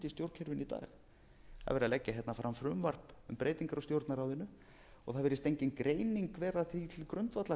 stjórnkerfinu í dag það er verið að leggja hérna fram frumvarp um breytingar á stjórnarráðinu og það virðist engin greining vera því til grundvallar